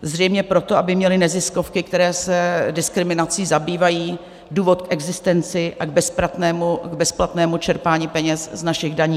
Zřejmě proto, aby měly neziskovky, které se diskriminací zabývají, důvod k existenci a k bezplatnému čerpání peněz z našich daní.